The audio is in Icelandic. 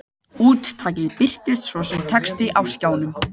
Úttakið birtist svo sem texti á skjánum.